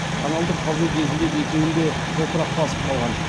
каналды қазу кезінде екеуін де топырақ басып қалған